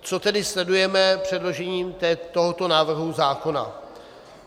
Co tedy sledujeme předložením tohoto návrhu zákona?